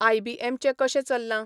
आय.बी.ऍम.चें कशें चल्लां?